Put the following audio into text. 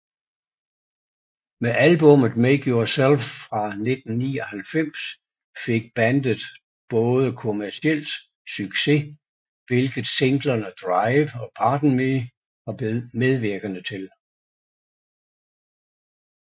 Med albummet Make Yourself fra 1999 fik bandet både kommercielt succes hvilket singlerne Drive og Pardon Me var medvirkende til